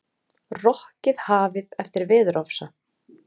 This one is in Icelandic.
Rokkið hafið eftir veðurofsa